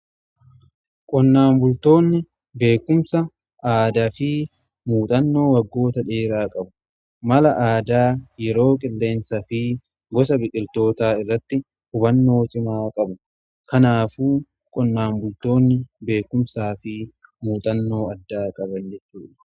Qonnaan bultoonni beekumsa aadaa fi muuxannoo waggoota dheeraa qabu mala aadaa yeroo qilleensa fi gosa biqiltootaa irratti hubannoo cimaa qabu. Kanaaf qonnaan bultoonni beekumsaa fi muuxannoo addaa qaban jechu.